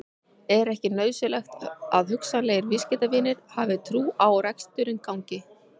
Er ekki nauðsynlegt að hugsanlegir viðskiptavinir hafi trú á að reksturinn gangi?